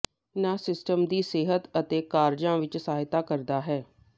ਨ ਸਿਸਟਮ ਦੀ ਸਿਹਤ ਅਤੇ ਕਾਰਜਾਂ ਵਿਚ ਸਹਾਇਤਾ ਕਰਦਾ ਹੈ